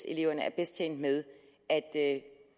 eleverne er bedst tjent med at